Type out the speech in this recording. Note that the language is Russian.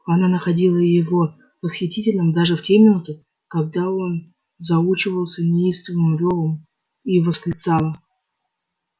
она находила его восхитительным даже в те минуты когда он заучивался неистовым рёвом и восклицала